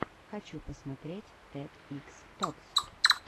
хочу посмотреть тед икс токс